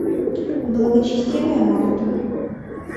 благочестивая марта